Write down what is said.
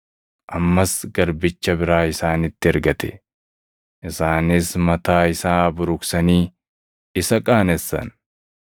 Ammas garbicha biraa isaanitti ergate; isaanis mataa isaa buruqsanii isa qaanessan.